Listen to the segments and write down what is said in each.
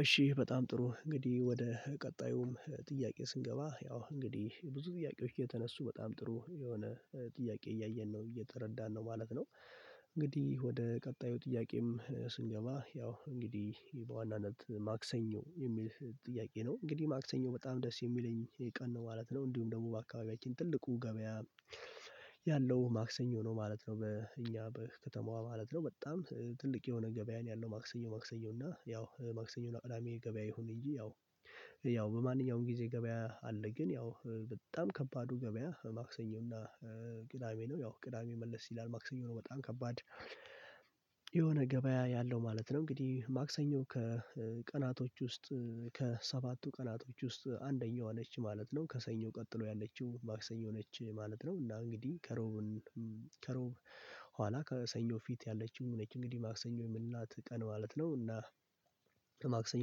እሺ በጣም ጥሩ እንግዲህ ወደ ቀጣዩም ጥያቄ ስንገባ ያው እንግዲህ ብዙ ጥያቄዎች የተነሱ በጣም ጥሩ የሆነ ጥያቄ እያየን ነው እየተረዳን ነው ማለት ነው። እንግዲህ ወደ ቀጣዩ ጥያቄም ስንገባ ያው እንግዲህ በዋናነት ማክሰኞ የሚል ጥያቄ ነው እንግዲህ ማክሰኞ በጣም ደስ የሚለኝ ቀን ነው ማለት ነው እንዲሁም ደግሞ በአካባቢያችን ትልቁ ገበያ ያለው ማክሰኞ ነው ማለት ነው። በእኛ በከተማዋ ማለት ነው በጣም ትልቅ የሆነ ገበያ ነው ያለው ማክሰኞ ማክሰኞ እና ያው ማክሰኞ ቅዳሜ ገበያ ይሁን እንጂ ያው ያው በማንኛውም ጊዜ ገበያ አለ። ግን ያው በጣም ከባዱ ገበያ ማክሰኞ እና ቅዳሜ ነው ያው ቅዳሜ መለስ ይላል ማክሰኞ ነው በጣም ከባድ የሆነ ገበያ ያለው ማለት ነው። እንግዲህ ማክሰኞ ከቀናቶች ውስጥ ከሰባቱ ቀናቶች ውስጥ አንደኛዋ ነች ማለት ነው ከሰኞ ቀጥሎ ያለችው ማክሰኞ ነች ማለት ነው። እና እንግዲህ ከሮብን ኋላ ከሰኞ ፊት ያለችው ነች እንግዲህ ማክሰኞ የምንላት ቀን ማለት ነው። እና ለማክሰኞ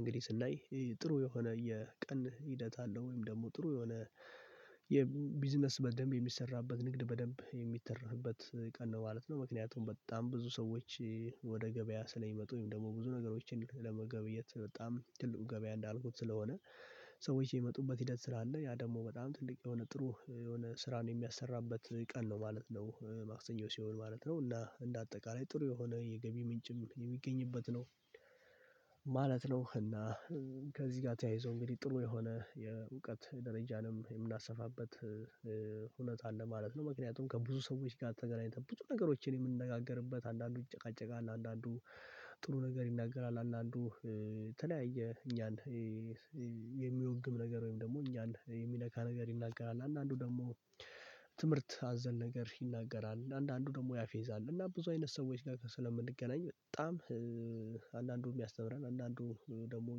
እንግዲህ ስናይ ጥሩ የሆነ የቀን ሂደት አለው ወይም ደግሞ ጥሩ የሆነ የቢዝነስ በደንብ የሚሰራበት ንግድ በደንብ የሚተረፍበት ቀን ነው ማለት ነው። ምክንያቱም በጣም ብዙ ሰዎች ወደ ገበያ ስለሚመጡ ወይም ደግሞ ብዙ ነገሮችን ለመገብየት በጣም ትልቁ ገበያ እንዳልኩት ስለሆነ ሰዎች የሚመጡበት ሂደት ስራ አለ ያ ደግሞ በጣም ትልቅ የሆነ ጥሩ የሆነ ስራ ነው የሚያሰራበት ቀን ነው ማለት ነው። ማክሰኞ ሲሆን ማለት ነው እና እንደ አጠቃላይ ጥሩ የሆነ የገቢ ምንጭም የሚገኝበት ነው ማለት ነው። እና ከዚህ ጋር ተያይዞ እንግዲህ ጥሩ የሆነ የእውቀት ደረጃንም የምናሰፋበት እውነት አለ ማለት ነው። ምክንያቱም ከብዙ ሰዎች ጋር ተገናኝተን ብዙ ነገሮችን የምንነጋገርበት አንዳንዱ ይጨቃጨቃል አንዳንዱ ጥሩ ነገር ይናገራል አንዳንዱ ተለያየ እኛን የሚወግም ነገር ወይም ደግሞ እኛን የሚነካ ነገር ይናገራል። አንዳንዱ ደግሞ ትምህርት አዘል ነገር ይናገራል አንዳንዱ ደግሞ ያፌዛል እና ብዙ አይነት ሰዎች ጋር ስለምንገናኝ በጣም አንዳንዱ የሚያስተምረን አንዳንዱ ደግሞ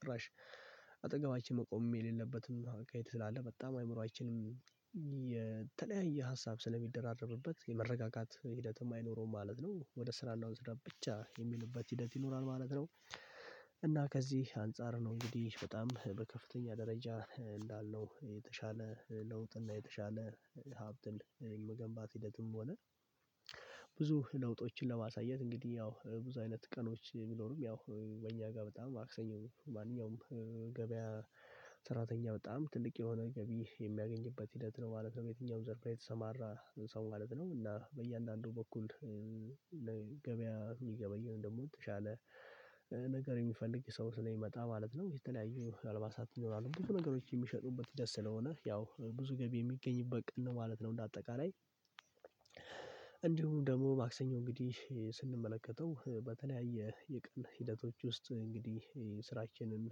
ጭራሽ አጠገባችን መቆምም የሌለበትም ማካይት ስላለ በጣም አይምሮአችንም ሀሳብ ስለሚደራረብበት የመረጋጋት ሂደትም አይኖረውም ማለት ነው። ወደ ስራና ስራ ብቻ የሚልበት ሂደት ይኖራል ማለት ነው። እና ከዚህ አንፃር ነው እንግዲህ በጣም በከፍተኛ ደረጃ እንዳለው የተሻለ ለውጥና የተሻለ ሀብትን መገንባት ሂደትም ሆነ ብዙ ለውጦችን ለማሳየት እንግዲህ ያው ብዙ አይነት ቀኖች ቢኖርም ያው በእኛ ጋር በጣም ማክሰኛው ማንኛውም ገበያ ሰራተኛ በጣም ትልቅ የሆነ ገቢ የሚያገኝበት ሂደት ነው ማለት ነው። የትኛውም ዘርፍ የተሰማራ ሰው ማለት ነው እና በእያንዳንዱ በኩል ገበያ የሚገበይውን ደግሞ የተሻለ ነገር የሚፈልግ ሰው ስለሚመጣ ማለት ነው። የተለያዩ አልባሳት ይኖራሉ ብዙ ነገሮች የሚሸጡበት ደስ ስለሆነ ያው ብዙ ገቢ የሚገኝበት ቅን ነው ማለት ነው። እንደ አጠቃላይ እንዲሁም ደግሞ ማክሰኞ እንግዲህ ስንመለከተው በተለያየ የቀን ሂደቶች ውስጥ እንግዲህ ስራችንን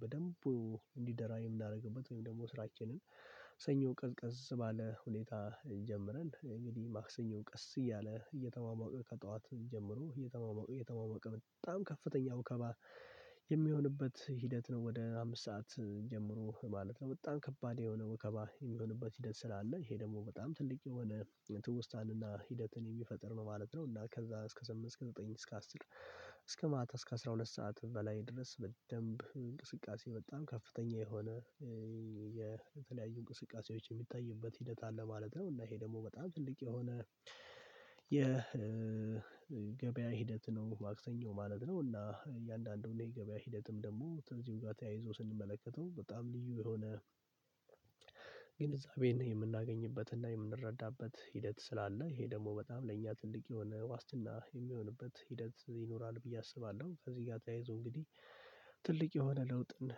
በደንቡ እንዲደራ የምናረግበት ወይም ደግሞ ስራችንን ሰኞ ቀዝቀዝ ባለ ሁኔታ ጀምረን እንግዲህ ማክሰኞ ቀስ እያለ እየተሟሟቀ ከጠዋት ጀምሮ እየተሟሟቀ በጣም ከፍተኛ ወከባ የሚሆንበት ሂደት ነው ወደ አምስት ሰዓት ጀምሮ ማለት ነው። በጣም ከባድ የሆነ ወከባ የሚሆንበት ሂደት ስላለ ይሄ ደግሞ በጣም ትልቅ የሆነ ትውስታንና ሂደትን የሚፈጥር ነው ማለት ነው። እና ከዛ እስከ ስምንት እስከ ዘጠኝ እስከ አስር እስከ ማታ እስከ አስራ ሁለት ሰዓት በላይ ድረስ በደንብ እንቅስቃሴ በጣም ከፍተኛ የሆነ የተለያዩ እንቅስቃሴዎች የሚታይበት ሂደት አለ ማለት ነው። እና ይሄ ደግሞ በጣም ትልቅ የሆነ የገበያ ሂደት ነው ማክሰኞ ማለት ነው። እና እያንዳንዱን የገበያ ሂደትም ደግሞ ተዚሁ ጋር ተያይዞ ስንመለከተው በጣም ልዩ የሆነ ግንዛቤን የምናገኝበትና የምንረዳበት ሂደት ስላለ ይሄ ደግሞ በጣም ለእኛ ትልቅ የሆነ ዋስትና የሚሆንበት ሂደት ይኖራል። ብዬ አስባለሁ ከዚህ ጋር ተያይዞ እንግዲህ ትልቅ የሆነ ለውጥን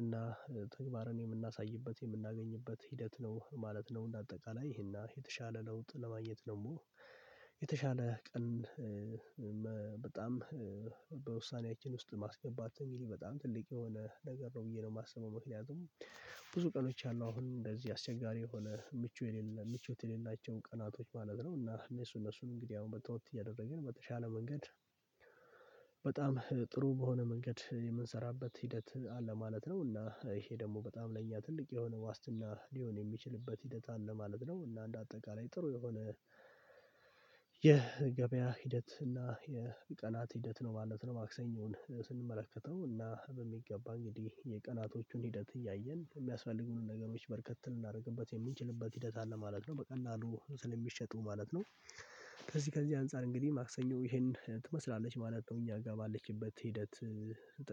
እና ተግባርን የምናሳይበት የምናገኝበት ሂደት ነው ማለት ነው። እንደ አጠቃላይ ይሄና የተሻለ ለውጥ ለማየት ደግሞ የተሻለ ቀን በጣም በውሳኔያችን ውስጥ ማስገባት ትልቅ በጣም ትልቅ የሆነ ነገር ነው ብዬ ነው የማስበው። ምክንያቱም ብዙ ቀኖች አሉ አሁን እንደዚህ አስቸጋሪ የሆነ ምቹ የሌለ ምቾት የሌላቸው ቀናቶች ማለት ነው እና እነሱን እነሱን እንግዲህ አሁን በተወት እያደረግን በተሻለ መንገድ በጣም ጥሩ በሆነ መንገድ የምንሰራበት ሂደት አለ ማለት ነው። እና ይሄ ደግሞ በጣም ለእኛ ትልቅ የሆነ ዋስትና ሊሆን የሚችልበት ሂደት አለ ማለት ነው። እና እንደ አጠቃላይ ጥሩ የሆነ የገበያ ሂደት እና የቀናት ሂደት ነው ማለት ነው። ማክሰኞን ስንመለከተው እና በሚገባ እንግዲህ የቀናቶቹን ሂደት እያየን የሚያስፈልጉንን ነገሮች በርከት ልናረግበት የምንችልበት ሂደት አለ ማለት ነው። በቀላሉ ስለሚሸጡ ማለት ነው ከዚህ ከዚህ አንፃር እንግዲህ ማክሰኞ ይሄን ትመስላለች ማለት ነው። እኛ ጋር ባለችበት ሂደት